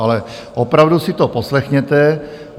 Ale opravdu si to poslechněte.